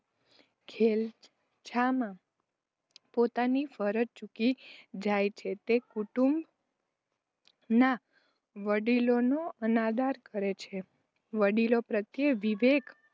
ઘેલછામાં પોતાની ફરજ ચૂકી જાય છે. તે કુટુંબ ના વડીલોનો અનાદર કરે છે. વડીલો પ્રત્યે વિવેક